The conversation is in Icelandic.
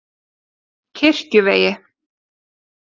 Kirkjuvegi